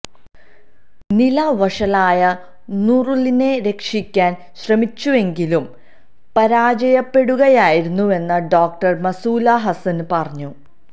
നില വഷളായ നൂറുലിനെ രക്ഷിക്കാന് ശ്രമിച്ചുവെങ്കിലും പരാജയപ്പെടുകയായിരുന്നുവെന്ന് ഡോക്ടര് മസൂല് ഹസന് പറഞ്ഞു